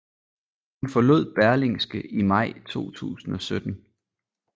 Hun forlod Berlingske i maj 2017